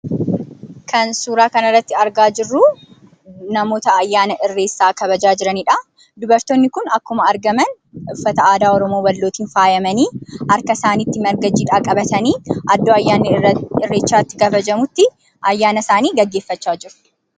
Kan suuraa kanarratti argaa jirru namoota ayyaana Irreessaa kabajaa jiranidha. Dubartoonni kun akkuma argaman, uffata aadaa Wallootiin faayamanii, harka isaaniitti marga jiidhaa qabatanii iddoo ayyaanni Irreechaa itti kabajamutti ayyaana isaanii gaggeeffachaa jiru.